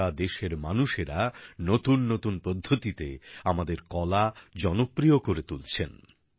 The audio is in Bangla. সারা দেশের মানুষেরা নতুন নতুন পদ্ধতিতে আমাদের শিল্পকলা জনপ্রিয় করে তুলছেন